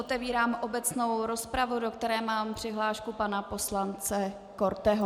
Otevírám obecnou rozpravu, do které mám přihlášku pana poslance Korteho.